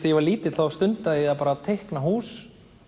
ég var lítill þá stundaði ég að teikna hús